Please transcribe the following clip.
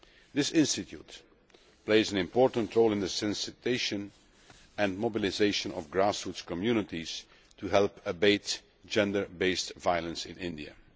This institute plays an important role in awareness raising and mobilisation of grassroots communities to help abate gender based violence in India.